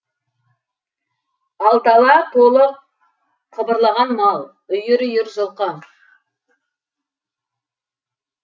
ал дала толы қыбырлаған мал үйір үйір жылқы